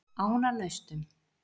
Ánanaustum